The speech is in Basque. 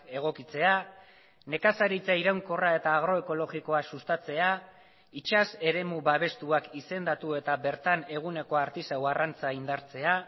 egokitzea nekazaritza iraunkorra eta agroekologikoa sustatzea itsas eremu babestuak izendatu eta bertan eguneko artisau arrantza indartzea